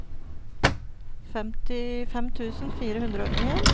femtifem tusen fire hundre og en